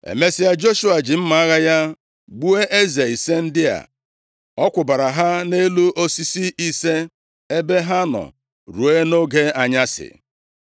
Emesịa, Joshua ji mma agha ya gbuo eze ise ndị a. Ọ kwụbara ha nʼelu osisi ise, ebe ha nọ ruo nʼoge anyasị.